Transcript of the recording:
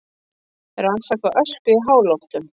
Rannsaka ösku í háloftunum